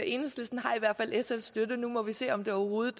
enhedslisten har i hvert fald sfs støtte og nu må vi se om det overhovedet